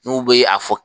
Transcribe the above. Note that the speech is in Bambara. N'u bɛ a fɔ